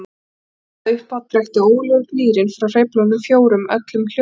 Hafi hann talað upphátt drekkti ógurlegur gnýrinn frá hreyflunum fjórum öllum hljóðum.